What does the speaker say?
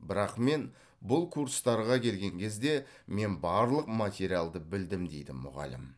бірақ мен бұл курстарға келген кезде мен барлық материалды білдім дейді мұғалім